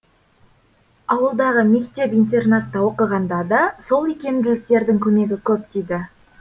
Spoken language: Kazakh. ауылдағы мектеп интернатта оқығанда да сол икемділіктердің көмегі көп тиді